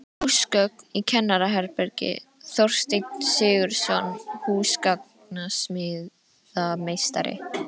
Húsgögn í kennaraherbergi: Þorsteinn Sigurðsson, húsgagnasmíðameistari.